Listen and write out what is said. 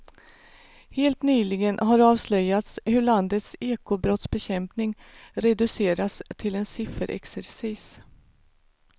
Helt nyligen har avslöjats hur landets ekobrottsbekämpning reducerats till en sifferexercis.